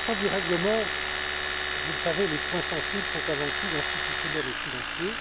S'agissant du règlement, vous le savez, les points sensibles sont avant tout institutionnels et financiers.